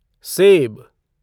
save